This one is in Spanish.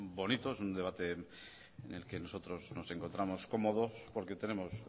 bonito es un debate en el que nosotros nos encontramos cómodos porque tenemos